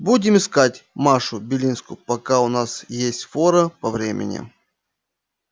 будем искать машу белинскую пока у нас есть фора по времени